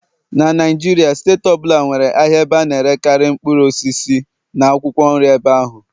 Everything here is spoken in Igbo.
na Naijiria steeti ọ bụla nwere ahịa ebe a na-erekarị mkpụrụ osisi na akwụkwọ nri ebe ahụ.